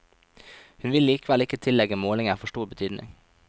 Hun vil likevel ikke tillegge målingen for stor betydning.